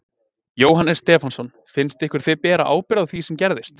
Jóhannes Stefánsson: Finnst ykkur þið bera ábyrgð á því sem gerðist?